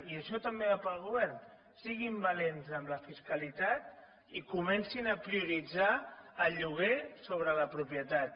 i això també va per al govern siguin valents amb la fiscalitat i comencin a prioritzar el lloguer sobre la propietat